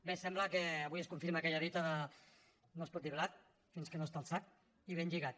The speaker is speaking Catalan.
bé sembla que avui es confirma aquella dita de no es pot dir blat fins que no està al sac i ben lligat